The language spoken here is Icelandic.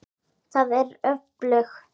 Það er öflugt.